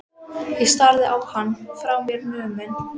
Austurbæjarbíói framanaf vetri og fékk jafnan húsfylli.